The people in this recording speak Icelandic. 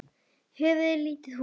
Höfði er lítið hús.